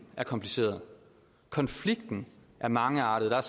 er kompliceret konflikten er mangeartet der er